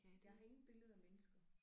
Jeg har ingen billeder af mennesker